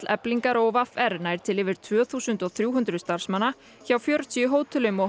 Eflingar og v r nær til yfir tvö þúsund og þrjú hundruð starfsmanna hjá fjörutíu hótelum og